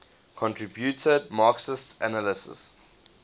contributed marxist analyses